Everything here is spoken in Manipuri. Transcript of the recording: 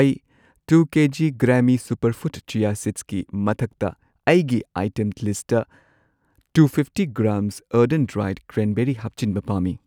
ꯑꯩ ꯇꯨ ꯀꯦꯖꯤ ꯒ꯭ꯔꯥꯃꯤ ꯁꯨꯄꯔꯐꯨꯗ ꯆꯤꯌꯥ ꯁꯤꯗ꯭ꯁꯀꯤ ꯃꯊꯛꯇ ꯑꯩꯒꯤ ꯑꯥꯏꯇꯦꯝ ꯂꯤꯁꯠꯇ ꯇꯨ ꯐꯤꯐꯇꯤ ꯒ꯭ꯔꯥꯝ ꯑꯔꯙꯣꯟ ꯗ꯭ꯔꯥꯢꯗ ꯀ꯭ꯔꯦꯟꯕꯦꯔꯤ ꯍꯥꯞꯆꯤꯟꯕ ꯄꯥꯝꯃꯤ꯫